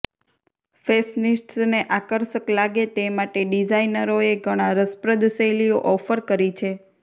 ફેશનિસ્ટસને આકર્ષક લાગે તે માટે ડિઝાઇનરોએ ઘણા રસપ્રદ શૈલીઓ ઓફર કરી છે